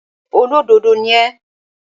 ṣólódodo ni ẹ́?